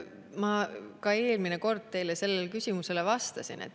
Ma vastasin ka eelmine kord teie sellele küsimusele.